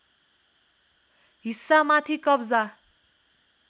हिस्सा माथि कब्जा